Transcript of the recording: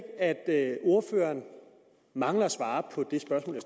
at ordføreren mangler at svare på det spørgsmål